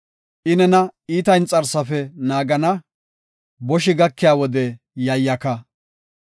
I nena iita inxarsafe naagana; boshi gakiya wode yayyaka.